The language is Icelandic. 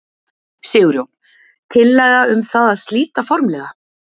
Sigurjón: Tillaga um það að slíta formlega?